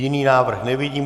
Jiný návrh nevidím.